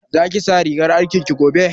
Za ki sa rigar aikin ki gobe?